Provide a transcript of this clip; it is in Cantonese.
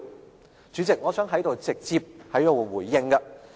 代理主席，我想在此直接回應。